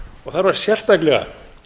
og þar var sérstaklega